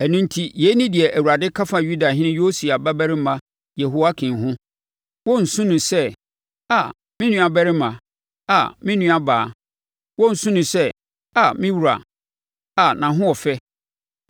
Ɛno enti, yei ne deɛ Awurade ka fa Yudahene Yosia babarima Yehoiakim ho: “Wɔrensu no sɛ: ‘Aa, me nuabarima! Aa me nuabaa!’ Wɔrensu no sɛ: ‘Aa, me wura! Aa nʼahoɔfɛ!’